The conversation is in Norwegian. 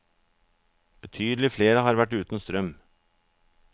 Betydelig flere har vært uten strøm.